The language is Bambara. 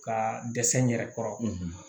Ka dɛsɛ n yɛrɛ kɔrɔ